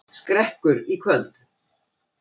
Skrekkur í kvöld